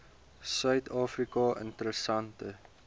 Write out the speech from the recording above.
suid afrika interessante